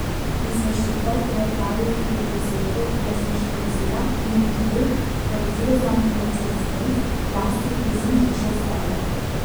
Izvršitelj je opravil tudi poizvedbo o lastništvu vozila in ugotovil, da je vozilo znamke Mercedes benz v lasti lizinghiše iz Celja.